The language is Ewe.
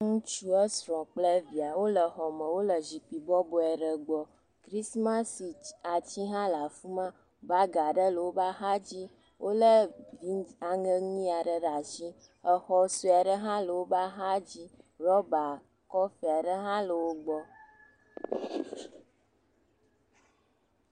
ŋutsu esrɔ kple via wóle xɔme wóle zikpi bɔboe aɖe gbɔ krismasi atsi ha le afima bag aɖe le wó megbe wóle aŋe nyiyaɖe ɖe asi exɔ soaɖe ha le wóbe axadzi rɔba kɔfe aɖe ha le wó gbɔ